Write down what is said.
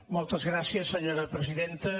moltes gràcies senyora presidenta